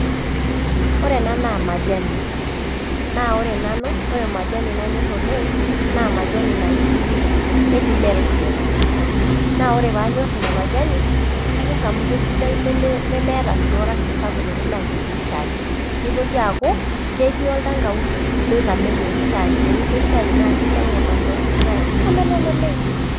Ore ena naa majani naa ore majani nanyorr naa majani naji, keji Melvins naa ore pee anyorr ina majani kanyorr amu kesidai nemeeta sii orangi sapuk tenilo ayierie shai nitoki aaku ketii oltangawizi nitamelon shaai teniyierr shaai naa kishamu oltangawizi naa kitamelon oleng'.